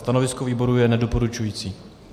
Stanovisko výboru je nedoporučující.